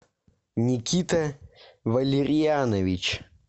никита валерьянович